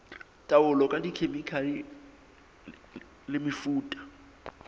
taolo ka dikhemikhale le mefuta